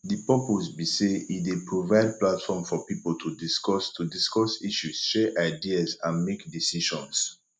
di purpose be say e dey provide platform for people to discuss to discuss issues share ideas and make decisions